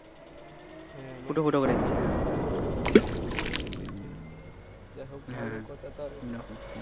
হম ফুটো ফুটো করে দিয়েছে হম সেইটাই সেইটাই